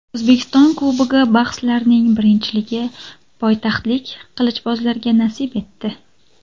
O‘zbekiston Kubogi bahslarining birinchiligi poytaxtlik qilichbozlarga nasib etdi.